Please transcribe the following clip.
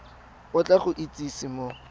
o tla go itsise mo